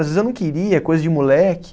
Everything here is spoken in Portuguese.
Às vezes eu não queria, coisa de moleque.